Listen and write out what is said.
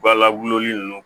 Ba la wololi nunnu